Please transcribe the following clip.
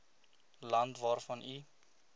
land waarvan u